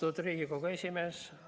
Austatud Riigikogu esimees!